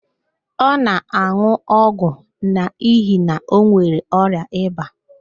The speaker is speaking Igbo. Ọ na-an̄ụ ọgwụ n'ihi na ọ nwere ọrịa ịba